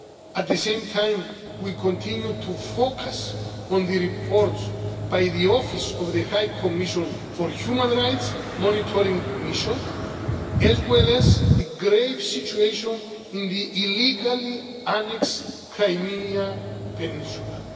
At the same time, we continue to focus on the reports by the Office of the High Commission for the Human Rights Monitoring Mission, as well as the grave situation in the illegally annexed Crimea peninsula.